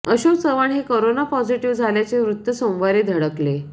अशोक चव्हाण हे corona positive झाल्याचे वृत्त सोमवारी धडकले